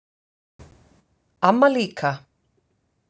Amma líka.